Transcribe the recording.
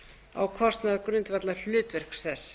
á kostnað grundvallarhlutverks þess